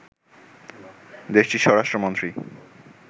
দেশটির স্বরাষ্ট্রমন্ত্রী